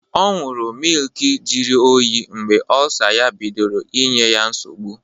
Ọ ñyuru mịlki jiri oyii mgbe Ọlsa ya bidoro inye ya nsọgbu.